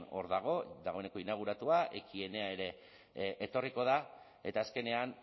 hor dago dagoeneko inauguratua ekienea ere etorriko da eta azkenean